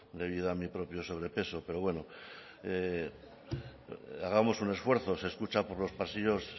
debido a mi propio sobrepeso pero bueno hagamos un esfuerzo se escucha por los pasillos